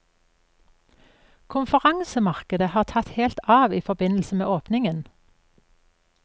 Konferansemarkedet har tatt helt av i forbindelse med åpningen.